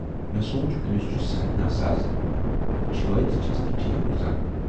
مےٚ سوٗنچ"ٲمِس چھُ صحت ناساز، چھٲتۍ تہِ چھَس نہٕ ٹھیٖک روزان۔